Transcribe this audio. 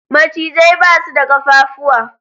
Macizai basu da kafafuwa